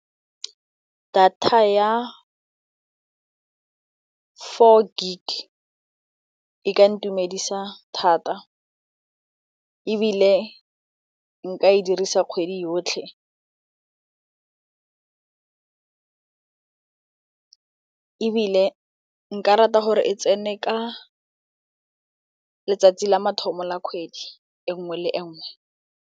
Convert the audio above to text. Data ya four gig e ka ntumedisa thata ebile nka e dirisa kgwedi yotlhe ebile nka rata gore e tsene ka letsatsi la mathomo la kgwedi e nngwe le nngwe.